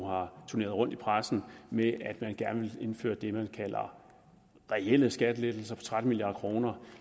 har turneret rundt i pressen med at man gerne ville indføre det man kalder reelle skattelettelser for tretten milliard kroner